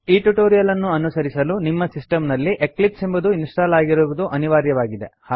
ಈ ಟ್ಯುಟೋರಿಯಲ್ ಅನ್ನು ಅನುಸರಿಸಲು ನಿಮ್ಮ ಸಿಸ್ಟಮ್ ನಲ್ಲಿ ಎಕ್ಲಿಪ್ಸ್ ಎಂಬುದು ಇನ್ಸ್ಟಾಲ್ ಆಗಿರುವುದು ಅನಿವಾರ್ಯವಾಗಿದೆ